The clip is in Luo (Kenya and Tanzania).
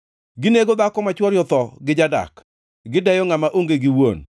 Ginego dhako ma chwore otho gi jadak; gideyo ngʼama onge gi wuon.